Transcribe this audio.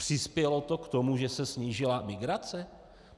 Přispělo to k tomu, že se snížila migrace?